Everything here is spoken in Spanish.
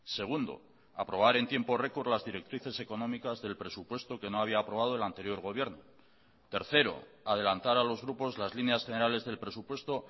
segundo aprobar en tiempo record las directrices económicas del presupuesto que no había aprobado el anterior gobierno tercero adelantar a los grupos las líneas generales del presupuesto